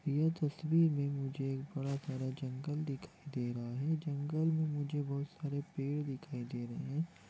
यह तस्वीर मैं मुझे थोड़ा-थोड़ा जंगल दिखाई दे रहा हैं जंगल में मुझे बहुत सारे पेड़ दिखाई दे रहे हैं।